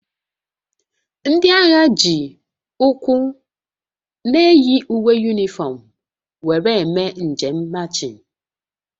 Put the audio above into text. Ndị agha ji ụkwụ na-eyi uwe yunifọm were eme njem machịn